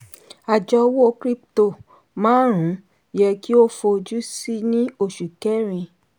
àjọ owó krípútò márùn-ún yẹ kí o fojú sí ní oṣù kẹrin.